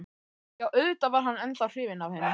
Jú, auðvitað var hann ennþá hrifinn af henni.